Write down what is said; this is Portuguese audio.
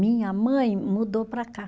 Minha mãe mudou para cá.